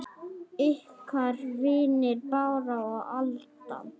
Ykkar vinir Bára og Alda.